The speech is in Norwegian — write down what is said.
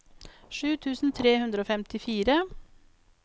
sju tusen tre hundre og femtifire